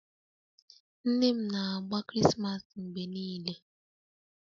Nne m na-agba Krismas mgbe niile